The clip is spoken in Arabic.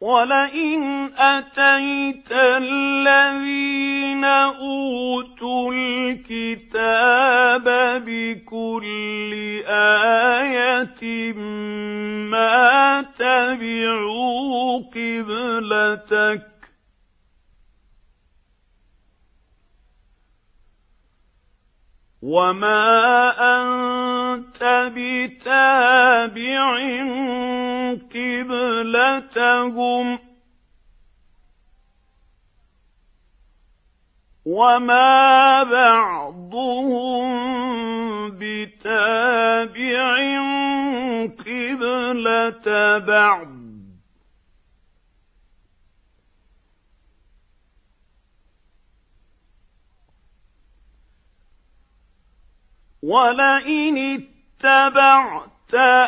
وَلَئِنْ أَتَيْتَ الَّذِينَ أُوتُوا الْكِتَابَ بِكُلِّ آيَةٍ مَّا تَبِعُوا قِبْلَتَكَ ۚ وَمَا أَنتَ بِتَابِعٍ قِبْلَتَهُمْ ۚ وَمَا بَعْضُهُم بِتَابِعٍ قِبْلَةَ بَعْضٍ ۚ وَلَئِنِ اتَّبَعْتَ